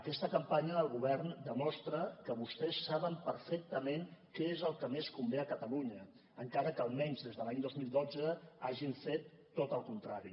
aquesta campanya del govern demostra que vostès saben perfectament què és el que més convé a catalunya encara que almenys des de l’any dos mil dotze hagin fet tot el contrari